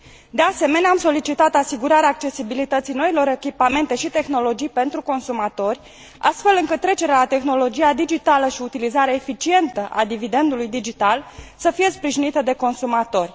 De asemenea, am solicitat asigurarea accesibilității noilor echipamente și tehnologii pentru consumatori, astfel încât trecerea la tehnologia digitală și utilizarea eficientă a dividendului digital să fie sprijinită de consumatori.